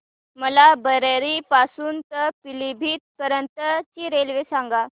मला बरेली पासून तर पीलीभीत पर्यंत ची रेल्वे सांगा